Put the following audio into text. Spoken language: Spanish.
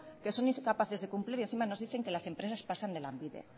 que son incapaces de cumplir y encima nos dicen que las empresas pasan de lanbide